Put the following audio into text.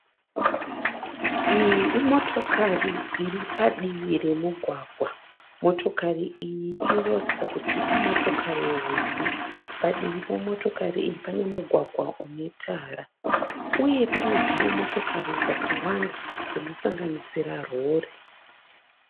Iyi imotokari iri padivi remugwagwa. Motokari iyi inoratidza kuti imotokari hombe. Padivi pemotokari iyi pane mugwagwa une tara uye pane dzimwe motokari dzakawanda dzinosanganisira rori.